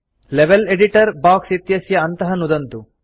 level editor box इत्यस्य अन्तः नुदन्तु